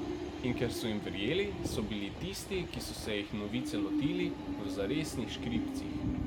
In ker so jim verjeli, so bili tisti, ki so se jih Novice lotili, v zaresnih škripcih.